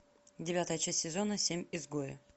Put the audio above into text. девятая часть сезона семь изгои